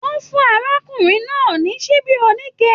Wọn fún arákùnrin náà ní ṣíbí onike.